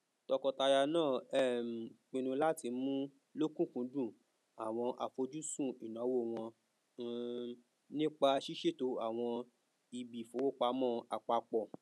tọkọtaya náà um pinnu láti mú lọkùnkúndùn àwọn àfojúsùn ìnáwó wọn um nípa ṣísètò àwọn ibiìfowopamọ apapọ